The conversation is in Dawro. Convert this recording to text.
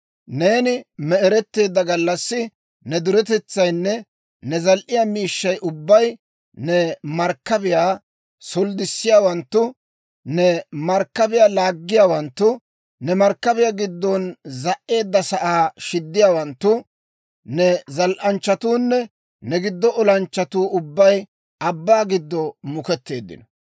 Neeni me'eretteedda gallassi ne duretetsaynne ne zal"iyaa miishshay ubbay, ne markkabiyaa solddissiyaawanttu, ne markkabiyaa laaggiyaawanttu, ne markkabiyaa giddon za"edasaa shiddiyaawanttu, ne zal"anchchatuunne ne giddon olanchchatuu ubbay abbaa giddo muuketteeddino.